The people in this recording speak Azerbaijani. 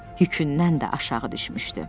Yükündən də aşağı düşmüşdü.